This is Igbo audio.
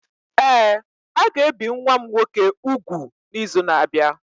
Ee, a ga-ebi nwa m nwoke úgwù n’izu na-abịa.